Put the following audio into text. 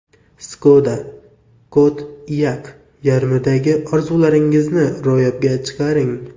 Skoda Kodiaq yordamida orzularingizni ro‘yobga chiqaring!